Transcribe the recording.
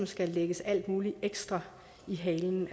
skal lægges alt muligt ekstra i halen